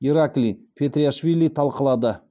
ираклий петриашвили талқылады